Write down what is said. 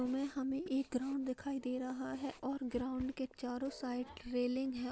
हमें हमें एक ग्राउंड दिखाई दे रहा हैं और ग्राउंड के चारो साइड रेलिंग हैं।